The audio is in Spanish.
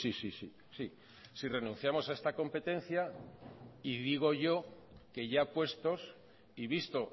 sí sí sí si renunciamos a esta competencia y digo yo que ya puestos y visto